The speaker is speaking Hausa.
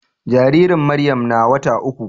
Jaririn Maryam na wata uku.